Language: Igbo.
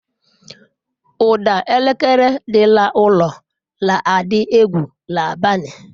Ụda elekere dị n'ụlọ na-adị egwu n'abalị.